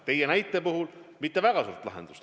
Teie näite puhul see ei anna küll mitte väga suurt lahendust.